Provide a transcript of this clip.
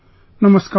Namaskar